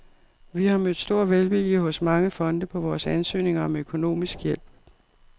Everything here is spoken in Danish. Vi har mødt stor velvilje hos mange fonde på vores ansøgninger om økonomisk hjælp.